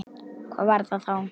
Hvað var það þá?